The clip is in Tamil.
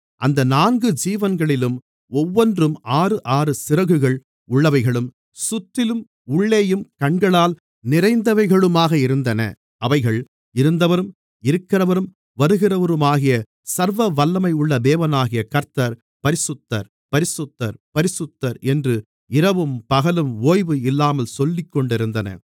அந்த நான்கு ஜீவன்களிலும் ஒவ்வொன்றும் ஆறுஆறு சிறகுகள் உள்ளவைகளும் சுற்றிலும் உள்ளேயும் கண்களால் நிறைந்தவைகளுமாக இருந்தன அவைகள் இருந்தவரும் இருக்கிறவரும் வருகிறவருமாகிய சர்வவல்லமையுள்ள தேவனாகிய கர்த்தர் பரிசுத்தர் பரிசுத்தர் பரிசுத்தர் என்று இரவும் பகலும் ஓய்வு இல்லாமல் சொல்லிக்கொண்டிருந்தன